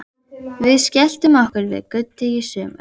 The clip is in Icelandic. Við skelltum okkur við Gutti í sumar.